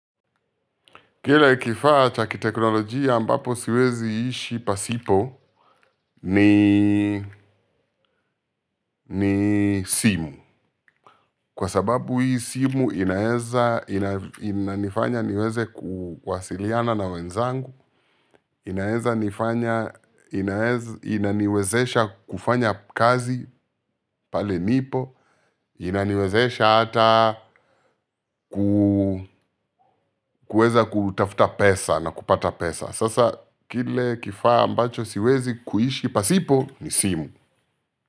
Kile kifaa cha kiteknolojia ambapo siwezi kuishi pasipo ni simu kwa sababu hii simu inaweza inanifanya niweze kuwasiliana na wenzangu inaweza nifanya inaniwezesha kufanya kazi pale nipo, inaniwezesha hata kuweza kutafuta pesa na kupata pesa. Sasa kile kifaa ambacho siwezi kuishi pasipo ni simu.